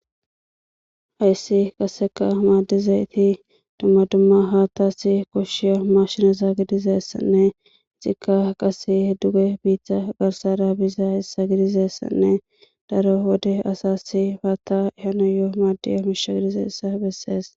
hayssi qaseka maaddize iti dumma dumma haattasi koshshiya ma shinazaa gidizeessanne zikka qase duge biiththa garsara biza issa gidizessanne daro wode asassi haatta hanoyoo maaddi hamisha gidize issa bessees